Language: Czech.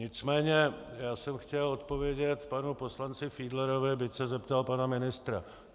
Nicméně já jsem chtěl odpovědět panu poslanci Fiedlerovi, byť se zeptal pana ministra.